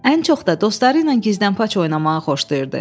Ən çox da dostları ilə gizlənpaç oynamağı xoşlayırdı.